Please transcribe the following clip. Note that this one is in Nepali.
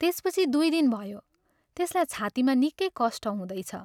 त्यसपछि दुइ दिन भयो त्यसलाई छातीमा निकै कष्ट हुँदैछ।